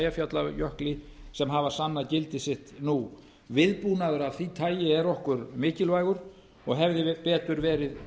eyjafjallajökli sem hafa sannað gildi sitt nú viðbúnaður af því tagi er okkur mikilvægur og hefði betur verið